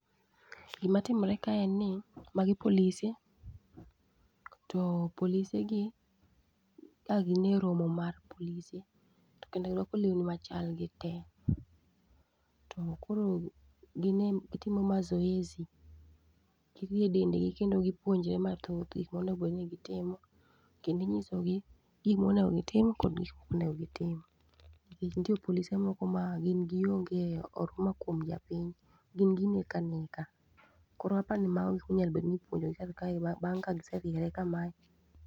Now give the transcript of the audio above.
Gima timore ka en ni magi polise, to polise gi a gin e romo mar polise To kendo girwako lewni machal gite. To koro gine gitimo mazoezi, girie dendgi kendo gipuonjre mathoth gik ma onegobedni gitimo. Kendinyisogi gik monego gitim, kod gik mokonego gitim. Nikech nitie polise moko ma gin gionge oruma kuom japiny, gin gineka neka. Koro apa ni mago e gik monegobednni ipuonjogi bang' kagise riere kamae.